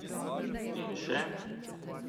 In še ...